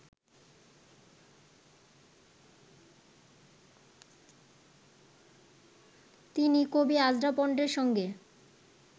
তিনি কবি আজরা পন্ডের সঙ্গে